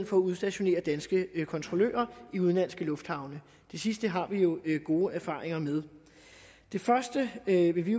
for at udstationere danske kontrollører i udenlandske lufthavne det sidste har vi jo gode erfaringer med det første vil vi